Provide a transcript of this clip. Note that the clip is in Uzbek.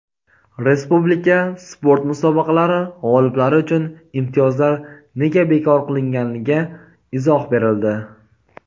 Respublika sport musobaqalari g‘oliblari uchun imtiyozlar nega bekor qilinganiga izoh berildi.